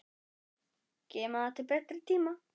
Geyma það til betri tíma.